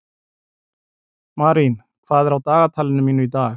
Marín, hvað er á dagatalinu mínu í dag?